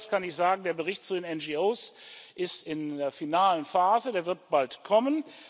Herrn Marias kann ich sagen Der Bericht zu den NGO ist in der finalen Phase, der wird bald kommen.